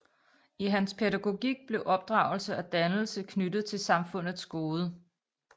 I hans pædagogik blev opdragelse og dannelse knyttet til samfundets gode